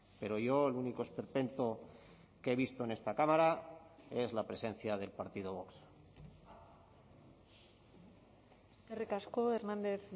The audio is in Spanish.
pero yo el único esperpento que he visto en esta cámara es la presencia del partido vox eskerrik asko hernández